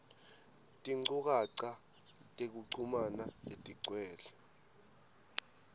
tinchukaca tekuchumana letigcwele